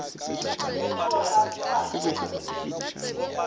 ke gore ga se wa